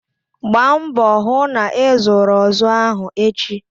Gbaa mbọ hụ na ịzụrụ ozu ahụ echi!